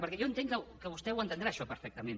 perquè jo entenc que vostè entendrà això perfectament